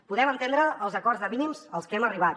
podem entendre els acords de mínims als que hem arribat